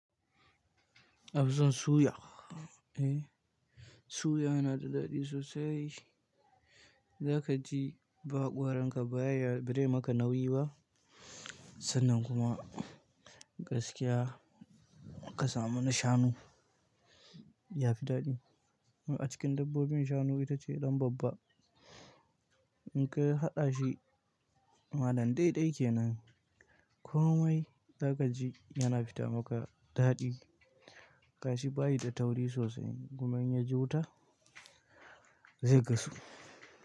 Ƙanzon suya, eh, suya yana da daɗi sosai. Zaka ji ba haƙoranka ba ya ba zai maka nauyi ba, sannan kuma gaskiya ka samu na shanu ya fi daɗi. A cikin dabbobin shanu ita ce ɗan babba. In ka haɗa shi malam dai dai kenan, komai zakaji yana fita maka daɗi. Gashi bayi da tauri sosai, kuma in ya ji wuta zai gasu.